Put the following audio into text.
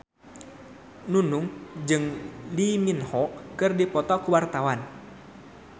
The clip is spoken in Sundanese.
Nunung jeung Lee Min Ho keur dipoto ku wartawan